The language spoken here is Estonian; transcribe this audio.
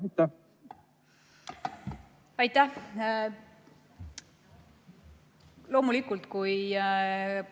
Aitäh!